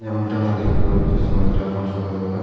যেমনটি আমরা দেখতে পাচ্ছি সময়টা এখন সকালবেলা।